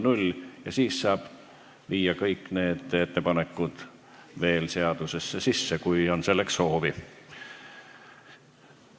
Pärast seda saab kõik need ettepanekud veel eelnõusse sisse viia, kui selleks soovi on.